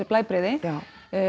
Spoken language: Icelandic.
blæbrigði já